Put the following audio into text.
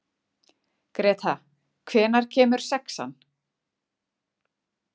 Greta, hvenær kemur sexan?